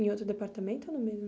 Em outro departamento ou no mesmo?